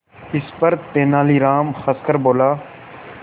इस पर तेनालीराम हंसकर बोला